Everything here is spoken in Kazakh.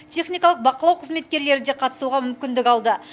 техникалық бақылау қызметкерлері де қатысуға мүмкіндік алды